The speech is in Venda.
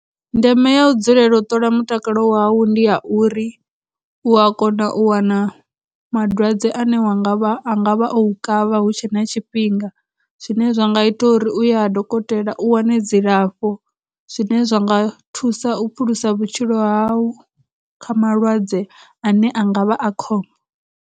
Ndeme ya u dzulela u ṱola mutakalo wau ndi ya uri u a kona u wana madwadze ane wa ngavha, a ngavha o u kavha hu tshe na tshifhinga, zwine zwa nga ita uri uye ha dokotela u wane dzilafho, zwine zwa nga thusa u phulusa vhutshilo ha u kha malwadze ane a nga vha a kho.